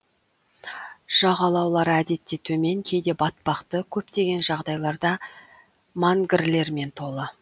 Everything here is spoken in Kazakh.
жағалаулары әдетте төмен кейде батпақты көптеген жағдайларда мангрлермен толы